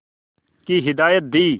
की हिदायत दी